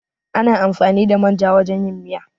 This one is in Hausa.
Ana amfani da manja wajan yin miya